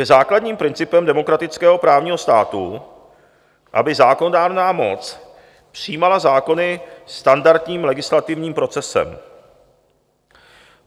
Je základním principem demokratického právního státu, aby zákonodárná moc přijímala zákony standardním legislativním procesem.